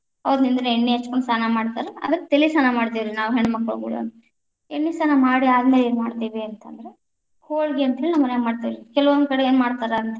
ಎಣ್ಣಿ ಹಚ್ಚಗೊಂಡು ಸ್ನಾನ ಮಾಡ್ತಾರ, ಅದಕ್ಕ ತಲಿ ಸ್ನಾನ ಮಾಡ್ತೇವ್ರಿ ನಾವ್‌ ಹೆಣ್ಣಮಕ್ಕಳು ಕೂಡನು, ಎಣ್ಣಿ ಸ್ನಾನ ಮಾಡಿ ಆದಮೇಲೆ ಏನ್‌ ಮಾಡ್ತೀವಿ ಅಂತ ಅಂದ್ರ ಹೋಳ್ಗಿ ಅಂತ ಹೇಳಿ ನಮ್ಮ ಮನ್ಯಾಗ ಮಾಡ್ತೇವ್ರಿ ಕೆಲವೊಂದ ಕಡೆ ಏನ್‌ ಮಾಡ್ತಾರಾ ಅಂತ ಅಂದ್ರ.